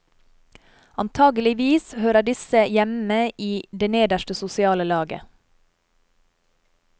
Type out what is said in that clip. Antakeligvis hører disse hjemme i det nederste sosiale laget.